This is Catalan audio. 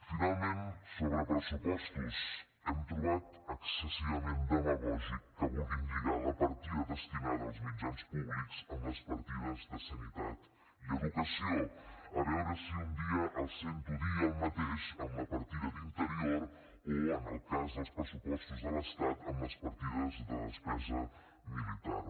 finalment sobre pressupostos hem trobat excessivament demagògic que vulguin lligar la partida destinada als mitjans públics amb les partides de sanitat i educació a veure si un dia els sento dir el mateix amb la partida d’interior o en el cas dels pressupostos de l’estat amb les partides de despesa militar